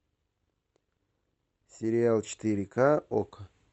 сериал четыре ка окко